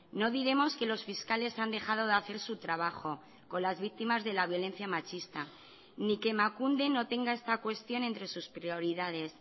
no diremos que los fiscales han dejado de hacer su trabajo con las víctimas de la violencia machista ni que emakunde no tenga esta cuestión entre sus prioridades